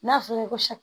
N'a fɔra ko